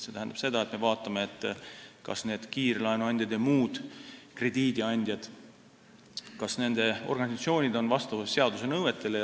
See tähendab seda, et me vaatame, kas kiirlaenuandjate ja muude krediidiandjate organisatsioonid on vastavuses seaduse nõuetega.